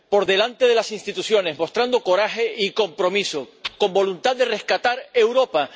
Por delante de las instituciones, mostrando coraje y compromiso, con voluntad de rescatar Europa.